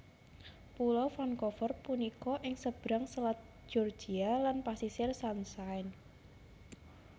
Pulo Vancouver punika ing sebrang Selat Georgia lan Pasisir Sunshine